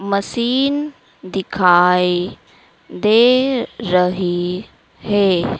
Machine दिखाई दे रही है।